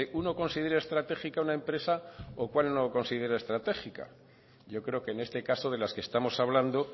uno considere estratégica una empresa o cuál no considera estratégica yo creo que en este caso de las que estamos hablando